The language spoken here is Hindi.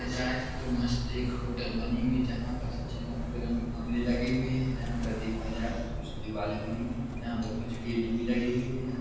जाए तो मस्त एक होटल बनी हुई है जहाँ पर अच्छे रंग-बिरंगे कमरे लगे हुए हैं जहाँ पर देखा जाए तो कुछ दीवालें बनी हुई हैं जहाँ पर कुछ गेट भी लगे हुए हैं।